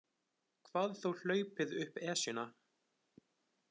Hvað þá hlaupið upp Esjuna.